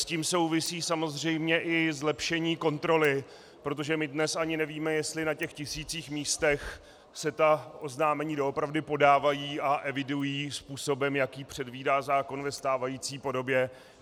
S tím souvisí samozřejmě i zlepšení kontroly, protože my dnes ani nevíme, jestli na těch tisících míst se ta oznámení doopravdy podávají a evidují způsobem, jaký předvídá zákon ve stávající podobě.